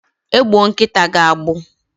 Agbụọ nkịta gị agbụ?